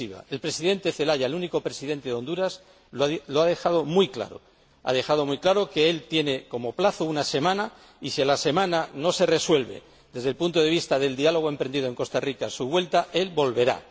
El Presidente Celaya, el único Presidente de Honduras, lo ha dejado muy claro ha dejado muy claro que él tiene como plazo una semana y que, si a la semana no se resuelve —desde el punto de vista del diálogo emprendido en Costa Rica— su vuelta, él volverá.